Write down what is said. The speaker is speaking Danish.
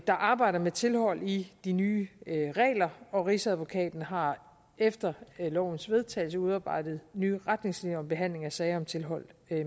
der arbejder med tilhold i de nye regler og rigsadvokaten har efter lovens vedtagelse udarbejdet nye retningslinjer om behandling af sager om tilhold